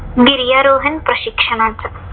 गिर्यारोहण प्रशिक्षणाचा